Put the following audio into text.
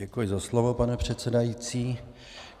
Děkuji za slovo, pane předsedající.